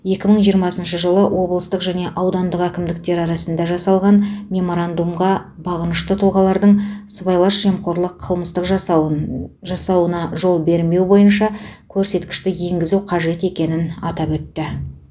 екі мың жиырмасыншы жылы облыстық және аудандық әкімдіктер арасында жасалған меморандумға бағынышты тұлғалардың сыбайлас жемқорлық қылмыс жасауын жасауына жол бермеу бойынша көрсеткішті енгізу қажет екенін атап өтті